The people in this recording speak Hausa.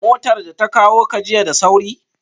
Motar da ta kawo ka jiya da sauri?